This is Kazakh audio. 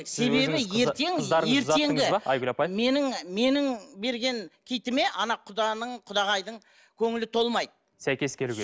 себебі ертең ертеңгі айгүл апай менің менің берген киітіме ана құданың құдағайдың көңілі толмайды сәйкес келу